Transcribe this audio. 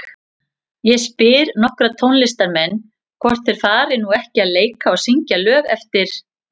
Ég spyr nokkra tónlistarmenn, hvort þeir fari nú ekki að leika og syngja lög eftir